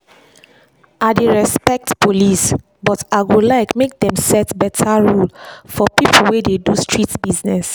i dey respect police but i go like make dem set better rule for people wey dey do street business.